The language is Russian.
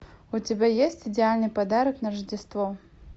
у тебя есть идеальный подарок на рождество